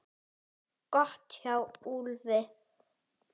Gott hjá Úlfi!